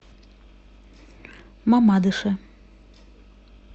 мамадыше